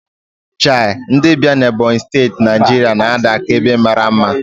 Chei, Idembia na Ebonyi Steti, Naijiria na-ada ka ebe mara mma.